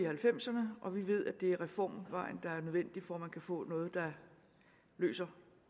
halvfemserne og vi ved at det er reformvejen der er nødvendig for at man kan få noget der løser